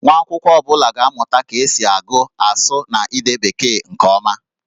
Nwa akwụkwọ ọ bụla ga-amụta ka esi agụ, asụ, na ide Bekee nke ọma